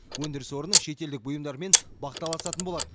өндіріс орны шетелдік бұйымдармен бақталасатын болады